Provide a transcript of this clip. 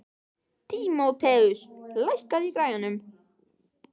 Tímoteus, lækkaðu í græjunum.